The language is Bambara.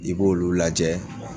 I b'olu lajɛ